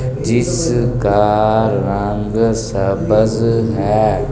जिसका रंग सबज है।